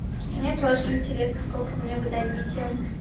мне тоже интересно сколько мне вы дадите